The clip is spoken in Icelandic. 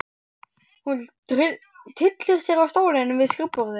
Hún tyllir sér á stólinn við skrifborðið.